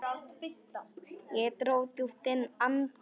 Ég dró djúpt inn andann.